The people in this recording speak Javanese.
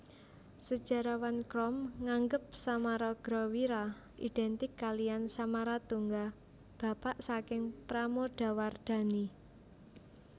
Sejarawan Krom nganggep Samaragrawira identik kaliyan Samaratungga bapak saking Pramodawardhani